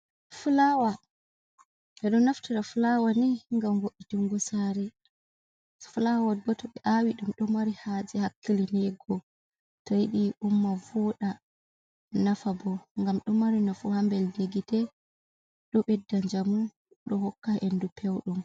Flawa, ɓe ɗo naftira flawa ni ngam vo'itungo saare. Flawa bo to ɓe aawi, ɗum ɗo mari haaje hakkilinego to yidi umma vooda nafa bo ngam ɗo mari nafu haa mbelndi gite, ɗo ɓedda njaamu, ɗo hokka hendu pewndu.